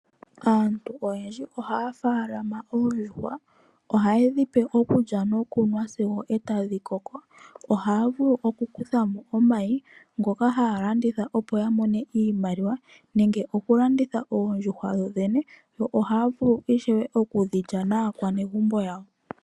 Aantu oyendji ohaya munu oondjuhwa. Ohaye dhipe okulya, nokunwa sigo etadhi koko. Ohaya vulu okukuthamo omayi ngoka haya landitha opo ya mone iimaliwa, nenge okulanditha oondjuhwa dhodhene, yo ohaya vulu ishewe okulya naakwanegumbo yawo.